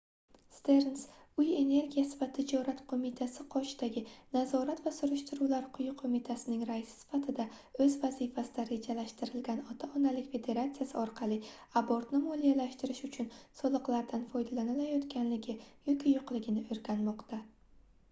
sterns uy energiyasi va tijorat qoʻmitasi qoshidagi nazorat va surishtiruvlar quyi qoʻmitasining raisi sifatida oʻz vazifasida rejalashtirilgan ota-onalik federatsiyasi orqali abortni moliyalashtirish uchun soliqlardan foydalanilayotganligi yoki yoʻqligini oʻrganmoqda